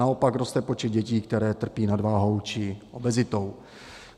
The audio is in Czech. Naopak roste počet dětí, které trpí nadváhou či obezitou.